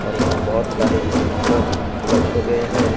और यहाँ बहोत सारे स्कूटर रखे गए हैं।